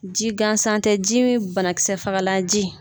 Ji gansan tɛ ji min banakisɛfagalanji.